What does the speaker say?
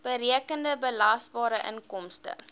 berekende belasbare inkomste